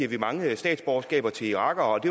vi mange statsborgerskaber til irakere og